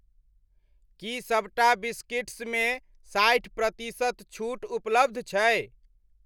की सभटा बिस्किट्समे साठि प्रतिशत छूट उपलब्ध छै?